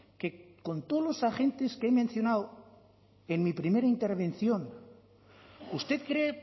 que con todos los agentes que he mencionado en mi primera intervención usted cree